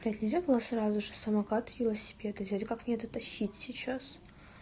блядь нельзя было сразу же самокат и велосипеды взять и как мне это тащить сейчас